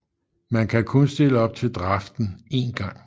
Man kan kun stille op til draften en gang